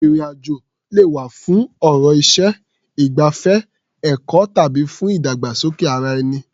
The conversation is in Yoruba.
Ìrìn-àjò lè wá̀ fún ọ̀rọ̀ iṣẹ́, ìgbafẹ́, ẹ̀kọ́ tàbí fún ìdàgbàsókè ara-ẹni.